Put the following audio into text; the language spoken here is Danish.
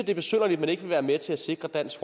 er besynderligt at man ikke vil være med til at sikre dansk